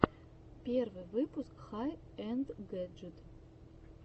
первый выпуск хай энд гэджит